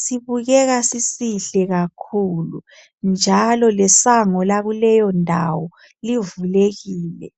sibukeka sisihle kakhulu, njalo lesango lakuleyo ndawo livulekile.